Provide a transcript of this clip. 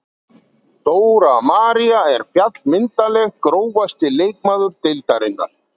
Dóra María er fjallmyndarleg Grófasti leikmaður deildarinnar?